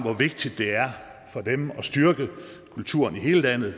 er vigtigt for dem at styrke kulturen i hele landet